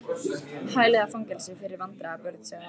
Hæli eða fangelsi fyrir vandræða- börn sagði afi.